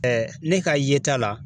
ne ka yeta la